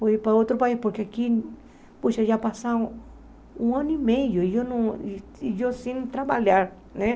Vou ir para outro país, porque aqui, puxa, já passaram um ano e meio e eu não e eu sem trabalhar, né?